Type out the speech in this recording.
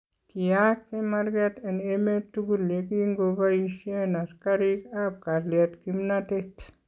Kiyaak chemarket en emeet tukul yekinko bayishen asikariikab kalyet kimnatet